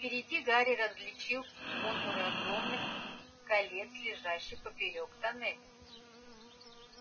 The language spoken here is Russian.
впереди гарри различил контуры огромных колец лежащих поперёк тоннеля